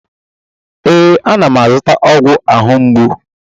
ee, ana m azụta ọgwụ ahụ ugbu a